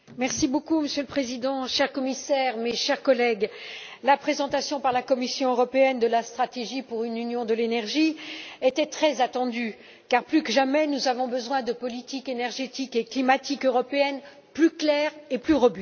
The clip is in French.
Monsieur le Président, cher Commissaire, chers collègues, la présentation par la Commission européenne de la stratégie pour une Union de l'énergie était très attendue, car plus que jamais nous avons besoin de politiques énergétique et climatique européennes plus claires et plus robustes.